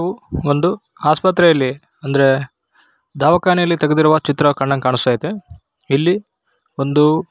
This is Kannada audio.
ಒಂದು ಆಸ್ಪತ್ರೆಯಲ್ಲಿ ಅಂದ್ರೆ ದವಾಖಾನೆಯಲ್ಲಿ ತೆಗೆದಿರುವ ಚಿತ್ರ ಕಂಡಂಗೆ ಕಾಣಿಸ್ತಾ ಐತೆ ಇಲ್ಲಿ ಒಂದು --